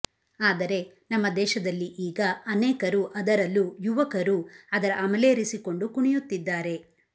ಆದರೆ ನಮ್ಮ ದೇಶದಲ್ಲಿ ಈಗ ಅನೇಕರು ಅದರಲ್ಲೂ ಯುವಕರು ಅದರ ಅಮಲೇರಿಸಿಕೊಂಡು ಕುಣಿಯುತ್ತಿದ್ದಾರೆ